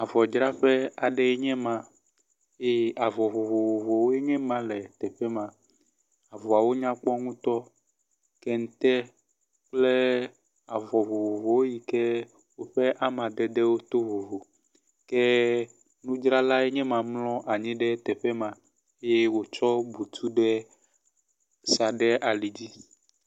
Avɔdzraƒe aɖee nye ma ye avɔ vovovowo nye ma le teƒe ma. Avɔawo nyakpɔ ŋutɔ. Kente kple avɔ vovovowo yike woƒe amadedewo to vovo ke nudzralae nye ma mlɔ anyi ɖe teƒe ma eye wotsɔ butu ɖe sa ɖe ali dzi.